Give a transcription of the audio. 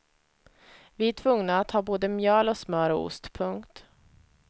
Vi är tvungna att ha både mjöl och smör och ost. punkt